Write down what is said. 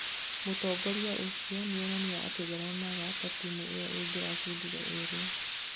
mũtongoria ũcio nĩonania atĩ ndaronaga ta timu ĩyo ĩngĩracindire ĩra